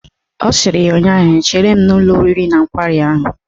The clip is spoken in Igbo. Ọ sịrị ya ụnyaahụ " Chere m n'ụlọ oriri na nkwari ahụ"!